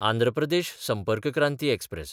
Andhra Pradesh Sampark Kranti express